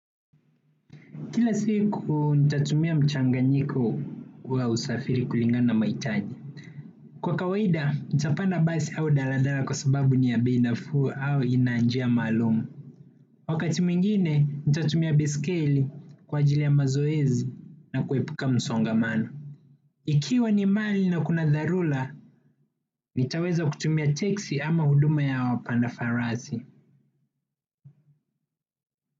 Kila siku, nitatumia mchanganyiko wa usafiri kulingana na mahitaji. Kwa kawaida, nitapanda basi au daladala kwa sababu ni ya bei nafuu au ina njia maalum. Wakati mwingine, nitatumia baiskeli kwa ajili ya mazoezi na kuepuka msongamano. Ikiwa ni mali na kuna dharura, nitaweza kutumia teksi ama huduma ya wapanda farasi.